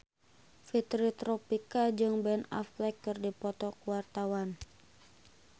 Fitri Tropika jeung Ben Affleck keur dipoto ku wartawan